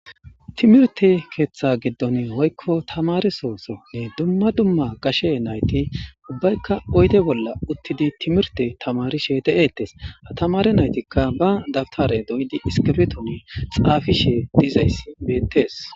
Timirte keeththa giddon hoykko tamare sooso nne dumma dumma gashe nayti ubbaykka oyde bolla uttidi timirte tamarishe te7eettes ha tamare naytikka ba dabtare doyidi iskefeton xaafishe dizays beettees.